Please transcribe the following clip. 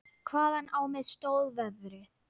Hvaðan á mig stóð veðrið.